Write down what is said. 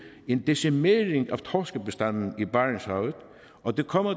en decimering af torskebestanden i barentshavet og det kommer